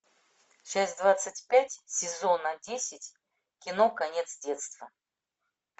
часть двадцать пять сезона десять кино конец детства